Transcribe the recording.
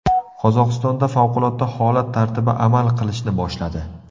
Qozog‘istonda favqulodda holat tartibi amal qilishni boshladi.